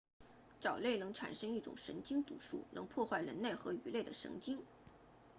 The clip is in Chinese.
藻类能产生一种神经毒素能破坏人类和鱼类的神经